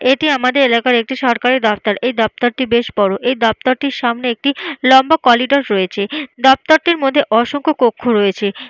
এটি আমাদের এলাকার একটি সরকারি দপ্তর। এই দপ্তরটি বেশ বড়। এই দপ্তরটির সামনে একটি লম্বা কোরিডোর রয়েছে। দপ্তরটির মধ্যে অসংখ্য কক্ষ রয়েছে।